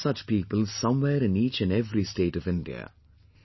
You will find such people somewhere in each and every state of India